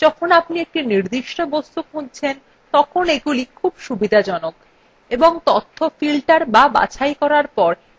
যখন আপনি একটি নির্দিষ্ট বস্তু খুঁজছেন তখন এগুলি খুব সুবিধাজনক এবং তথ্য filtered বা বাছাই করার পর এগুলি আরও শক্তিশালী হয়ে যায়